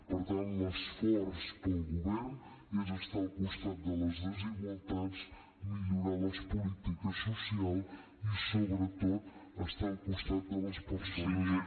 per tant l’esforç del govern és estar al costat de les desigualtats millorar les polítiques socials i sobretot estar al costat de les persones